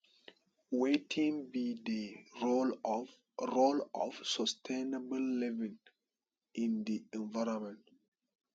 wetin be di role of role of sustainable living in di environment